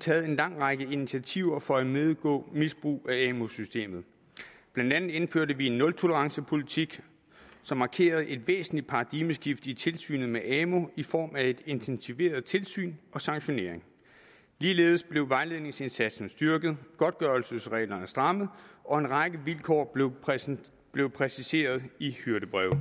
taget en lang række initiativer for at imødegå misbrug af amu systemet blandt andet indførte vi en nultolerancepolitik som markerede et væsentligt paradigmeskift i tilsynet med amu i form af et intensiveret tilsyn og sanktionering ligeledes blev vejledningsindsatsen styrket og godtgørelsesreglerne strammet og en række vilkår blev præciseret blev præciseret i hyrdebreve